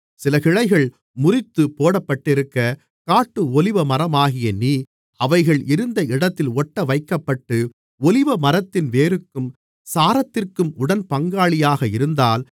சில கிளைகள் முறித்துப் போடப்பட்டிருக்க காட்டு ஒலிவமரமாகிய நீ அவைகள் இருந்த இடத்தில் ஒட்டவைக்கப்பட்டு ஒலிவமரத்தின் வேருக்கும் சாரத்திற்கும் உடன்பங்காளியாக இருந்தால்